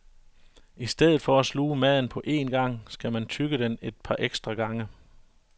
I stedet for at sluge maden på én gang, skal man tygge den et par ekstra gange.